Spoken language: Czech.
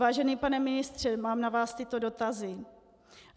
Vážený pane ministře, mám na vás tyto dotazy.